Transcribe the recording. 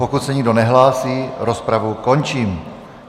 Pokud se nikdo nehlásí, rozpravu končím.